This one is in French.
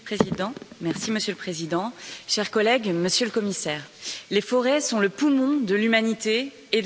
Monsieur le Président, chers collègues, Monsieur le Commissaire, les forêts sont le poumon de l'humanité et de la planète.